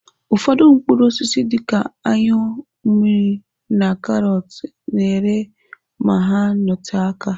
Ụfọdụ mkpụrụ osisi dịka anyụ mmiri na karọt na-ere ma ha note aka.